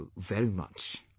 Thank you very much